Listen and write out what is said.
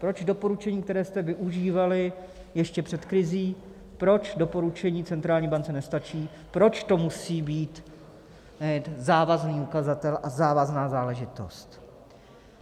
Proč doporučení, které jste využívali ještě před krizí, proč doporučení centrální bance nestačí, proč to musí být závazný ukazatel a závazná záležitost.